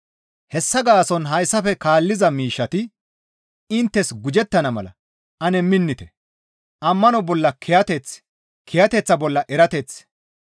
Hessa gaason hayssafe kaalliza miishshati inttes gujettana mala ane minnite. Ammano bolla kiyateth, kiyateththa bolla erateth,